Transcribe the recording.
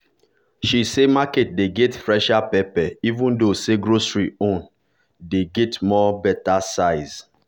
she say market dey get fresher pepper even though say grocery store own dey get more better size.